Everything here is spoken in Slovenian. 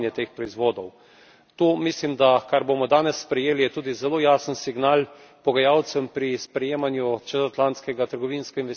Tu mislim, da kar bomo danes sprejeli, je tudi zelo jasen signal pogajalcem pri sprejemanju čezatlantskega trgovinsko investicijskega sporazuma.